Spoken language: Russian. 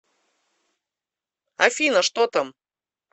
афина что там